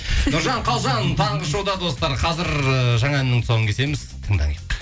нұржан қалжан таңғы шоуда достар қазір ыыы жаңа әннің тұсауын кесеміз тыңдайық